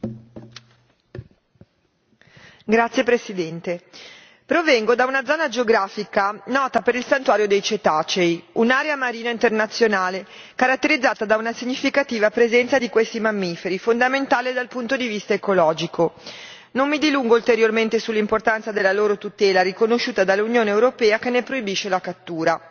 Signora Presidente, onorevoli colleghi, provengo da una zona geografica nota per il Santuario dei Cetacei, un'area marina internazionale caratterizzata da una significativa presenza di questi mammiferi, fondamentale dal punto di vista ecologico. Non mi dilungo ulteriormente sull'importanza della loro tutela riconosciuta dall'Unione europea, che ne proibisce la cattura.